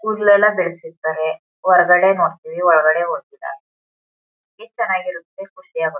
ಕೂಡಲೆಲ್ಲ ಬೆಳೆಸಿರ್ತರೆ ಹೊರಗಡೆ ನೋಡ್ತಿವಿ ಒಳಗಡೆ ಇದ್ ಚೆನ್ನಾಗಿರುತ್ತೆ ಖುಷಿಯಾಗುತ್ತೆ.